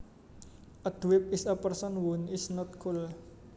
A dweeb is a person who is not cool